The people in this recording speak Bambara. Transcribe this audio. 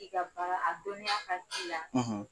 I ka baara, a dɔniya ka k'i la